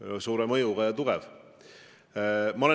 Teile loomulikult meeldib öelda, et see telg on paremäärmuslik.